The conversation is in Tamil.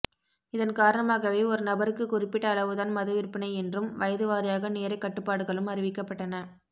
இதன் காரணமாகவே ஒரு நபருக்குக் குறிப்பிட்ட அளவுதான் மது விற்பனை என்றும் வயது வாரியாக நேரக் கட்டுப்பாடுகளும் அறிவிக்கப்பட்டன